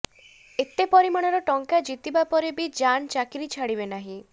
ଏତେ ପରିମାଣର ଟଙ୍କା ଜିତିବା ପରେ ବି ଜାନ୍ ଚାକିରୀ ଛାଡ଼ିବେ ନାହିଁ